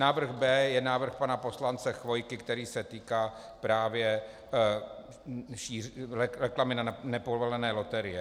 Návrh B je návrh pana poslance Chvojky, který se týká právě reklamy na nepovolené loterie.